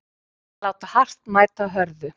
Að láta hart mæta hörðu